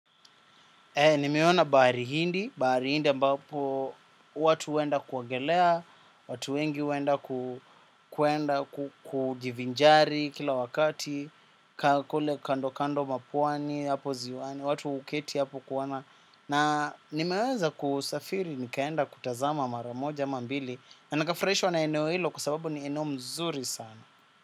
Nimeona bahari hindi, bahari hindi ambapo watu huenda kuogelea, watu wengi huenda kuenda kujivinjari kila wakati, kule kando kando mwa pwani, watu huketi hapo kuona. Na nimeweza kusafiri nikaenda kutazama mara moja ama mbili, na nikafuraishwa na eneo hilo kwa sababu ni eneo mzuri sana.